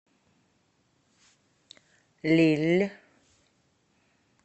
лилль